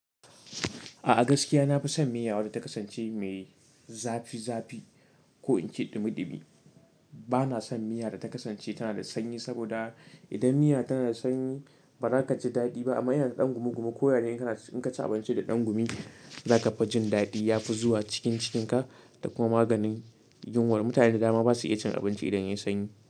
A gaskiya nafi son miya wadda ta kasance mai zafi zafi ko in ce ɗumi ɗumi. Bana son miya da ta kasance tana da sanyi saboda idan miya tana da sanyi, ba za ka ji daɗi ba amma idan yana ɗan gumi gumi, ko ya ne kana, in ka ci abinci da ɗan gumi, za ka fi jin daɗi ya fi zuwa cikin cikinka da kuma maganin yunwa. Mutane da dama basu iya cin abinci idan yayi sanyi.